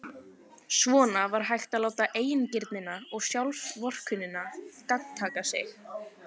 Svona var hægt að láta eigingirnina og sjálfsvorkunnina gagntaka sig.